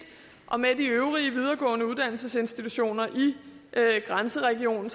og med de øvrige videregående uddannelsesinstitutioner i grænseregionen